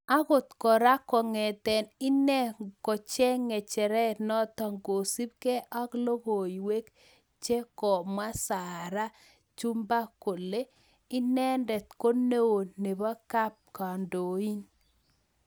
Angot kora kongete ine kocheng ngecheret notok..kosup ge ak logoiwek che komwa Sarah chumba ne inendet ko neoo nebo kap kandoin.